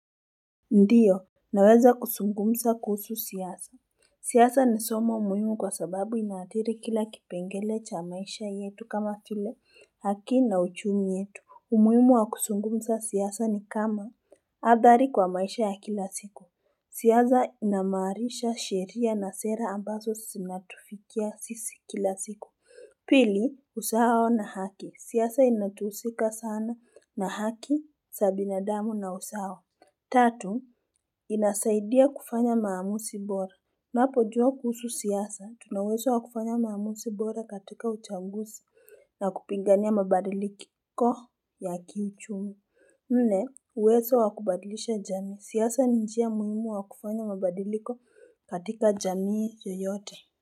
Ndiyo naweza kusungumsa kuhusu siasa siyasa ni somo muhimu kwa sababu inaadhiri kila kipengele cha maisha yetu kama tule haki na uchumi yetu umyumu wa kusungumsa siyasa ni kama athari kwa maisha ya kila siku siyasa inamarisha sheria na sera ambazo sinatufikia sisi kila siku pili usaao na haki siyasa inatuhusika sana na haki sabi na damu na usaao tatu inasaidia kufanya maamusi bora napo jua kuhusu siyasa tuna uweso wakufanya maamusi bora katika uchangusi na kupingania mabadili kiko ya kiichumi nne uwezo wakubadilisha jami siyasa ni njia muhimu wakufanya mabadiliko katika jamii yoyote.